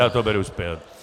Já to beru zpět.